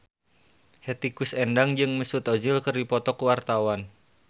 Hetty Koes Endang jeung Mesut Ozil keur dipoto ku wartawan